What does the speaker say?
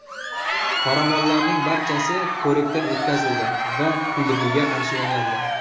Qoramollarning barchasi ko‘rikdan o‘tkazildi va kuydirgiga qarshi emlandi.